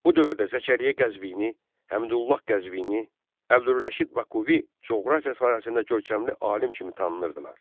Bu dövrdə Zəkəriyyə Qəzvini, Həmdullah Qəzvini, Əbdürrəşid Bakuvi coğrafiya sahəsində görkəmli alim kimi tanınırdılar.